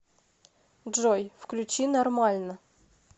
джой включи нормально